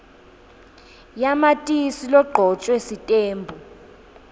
yamatisi legcotjwe sitembu